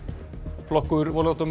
flokkur